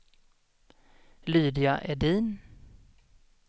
Lydia Edin